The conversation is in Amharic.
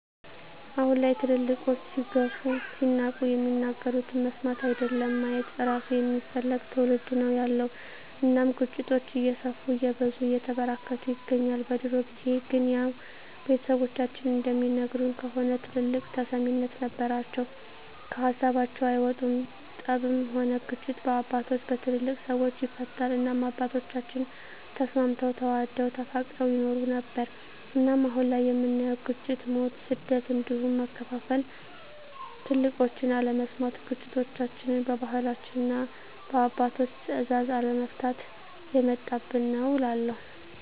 አሁን ላይ ትልልቆች ሲገፉ ሲናቁ የሚናገሩትን መስማት አይደለም ማየት እራሱ የማይፈልግ ትዉልድ ነዉ ያለዉ እናም ግጭቶች እየሰፉ እየበዙ እየተበራከቱ ይገኛል። በድሮ ጊዜ ግን ያዉ ቤተሰቦቻችን እንደሚነግሩን ከሆነ ትልልቆች ተሰሚነት ነበራቸዉ ከሀሳባቸዉ አይወጡም ጠብም ሆነ ግጭት በአባቶች(በትልልቅ ሰወች) ይፈታል እናም አባቶቻችን ተስማምተዉ ተዋደዉ ተፋቅረዉ ይኖሩ ነበር። እናም አሁን ላይ የምናየዉ ግጭ፣ ሞት፣ ስደት እንዲሁም መከፋፋል ትልቆችን አለመስማት ግጭቶችችን በባህላችንና እና በአባቶች ትእዛዝ አለመፍታት የመጣብን ነዉ እላለሁ።